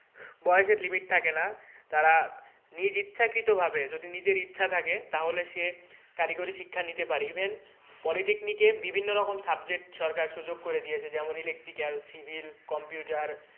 বয়েসের limit থাকে না তারা নিজ ইচ্ছাকৃত ভাবে যদি নিজের ইচ্ছা থাকে তাহলে সে কারিগরি শিক্ষা নিতে পারে even polytechnic এ বিভিন্ন রকম subject সরকার সুযোগ করে দিয়েছে যেমন electrical, civil, computer